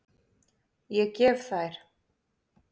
Ég gef þær.